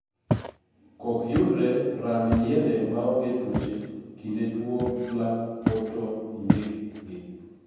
kok yudre, rang yiende maonge tuoche kinde tuo black pod to indikgi.